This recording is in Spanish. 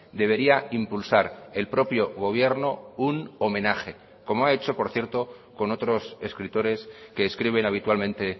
debería impulsar el propio gobierno un homenaje como ha hecho por cierto con otros escritores que escriben habitualmente